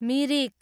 Mirik